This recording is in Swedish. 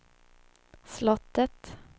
slottet